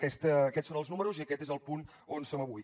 aquests són els números i aquest és el punt on som avui